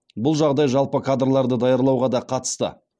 бұл жағдай жалпы кадрларды даярлауға да қатысты